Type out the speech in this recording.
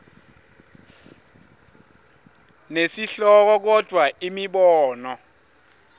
nesihloko kodvwa imibono